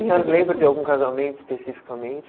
a senhora lembra de algum casamento especificamente?